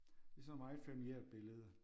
Det er sådan et meget familiært billede